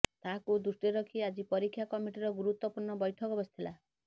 ତାହାକୁ ଦୃଷ୍ଟିରେ ରଖି ଆଜି ପରୀକ୍ଷା କମିଟିର ଗୁରୁତ୍ୱପୂର୍ଣ୍ଣ ବୈଠକ ବସିଥିଲା